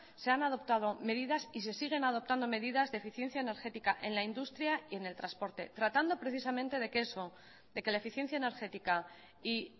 se han adoptado medidas y se siguen adoptando medidas de eficiencia energética en la industria y en el transporte tratando precisamente de que eso de que la eficiencia energética y